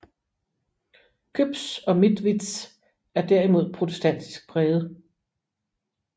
Küps og Mitwitz er derimod protestantisk præget